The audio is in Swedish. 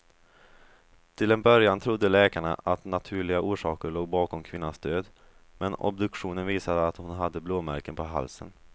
Till en början trodde läkarna att naturliga orsaker låg bakom kvinnans död, men obduktionen visade att hon hade blåmärken på halsen.